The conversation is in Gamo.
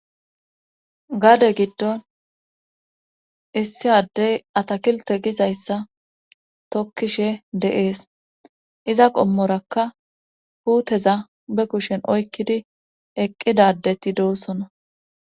Gaade giddon issi addey atakilte gizayssa tokkishe de7ees iza qommorakka huuteza be kushen oykkidi eqqidadeti doossona